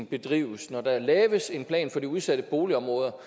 bedrives når der laves en plan for de udsatte boligområder